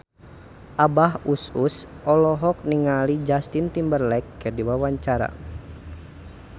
Abah Us Us olohok ningali Justin Timberlake keur diwawancara